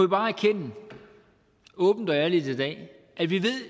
bare erkende åbent og ærligt i dag at vi